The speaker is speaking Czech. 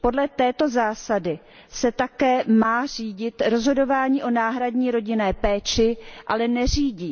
Podle této zásady se také má řídit rozhodování o náhradní rodinné péči, ale neřídí.